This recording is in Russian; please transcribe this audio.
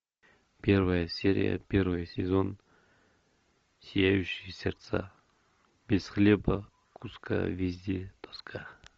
первая серия первый сезон сияющие сердца без хлеба куска везде тоска